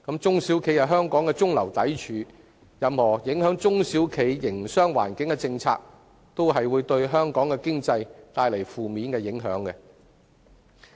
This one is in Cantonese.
中小企是香港的中流砥柱，任何影響中小企營商環境的政策，也會對本港經濟帶來負面影響。